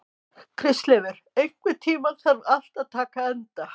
Kristleifur, einhvern tímann þarf allt að taka enda.